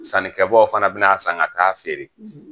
Sankɛbaw fana bi na san ka taa feere